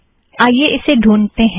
आइए इसे ढ़ूँढतें हैं